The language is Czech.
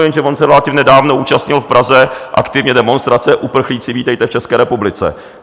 Jenže on se relativně nedávno účastnil v Praze aktivně demonstrace "Uprchlíci, vítejte v České republice".